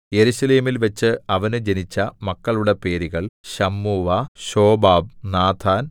യെരൂശലേമിൽവെച്ച് അവന് ജനിച്ച മക്കളുടെ പേരുകൾ ശമ്മൂവ ശോബാബ് നാഥാൻ